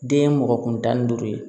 Den ye mɔgɔ kun tan ni duuru ye